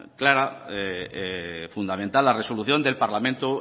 clara y fundamental la resolución del parlamento